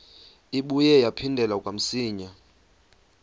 ibuye yaphindela kamsinya